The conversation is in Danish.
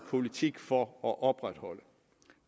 politik for at opretholde